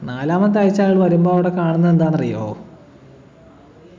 നാലാമത്തെ ആഴ്ച അയാള് വരുമ്പൊ അവിടെ കാണുന്നതെന്താന്ന് അറിയോ